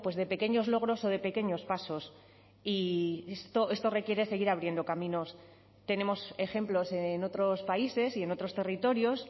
de pequeños logros o de pequeños pasos y esto requiere seguir abriendo caminos tenemos ejemplos en otros países y en otros territorios